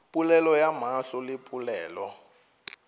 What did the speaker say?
polelo ya mahlo le polelo